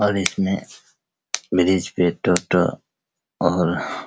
और इसमें और --